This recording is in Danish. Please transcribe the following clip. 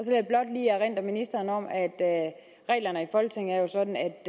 af ministeren om at reglerne i folketinget jo er sådan at